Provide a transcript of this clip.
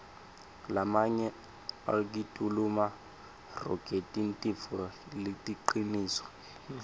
lamanye akituluma rogetintifo letiliciniso